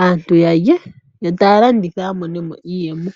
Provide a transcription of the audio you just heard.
aantu ya lye yo taya landitha ya mone mo iiyemo.